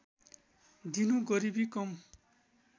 दिनु गरीबी कम